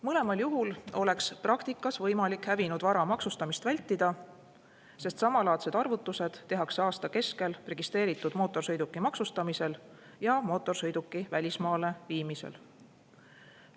Mõlemal juhul oleks praktikas võimalik hävinud vara maksustamist vältida, sest samalaadsed arvutused tehakse aasta keskel registreeritud mootorsõiduki maksustamisel ja mootorsõiduki välismaale viimisel.